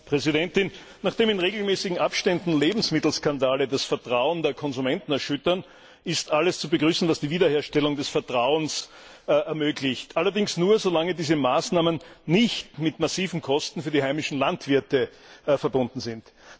Frau Präsidentin! Nachdem in regelmäßigen Abständen Lebensmittelskandale das Vertrauen der Konsumenten erschüttern, ist alles zu begrüßen, was die Wiederherstellung des Vertrauens ermöglicht, allerdings nur, solange diese Maßnahmen nicht mit massiven Kosten für die heimischen Landwirte verbunden sind.